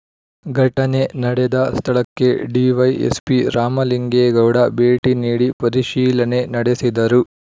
ಘಟನೆ ನಡೆದ ಸ್ಥಳಕ್ಕೆ ಡಿವೈಎಸ್‍ಪಿ ರಾಮಲಿಂಗೇಗೌಡ ಭೇಟಿ ನೀಡಿ ಪರಿಶೀಲನೆ ನಡೆಸಿದರು